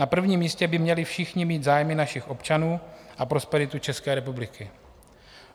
Na prvním místě by měli všichni mít zájmy našich občanů a prosperitu České republiky.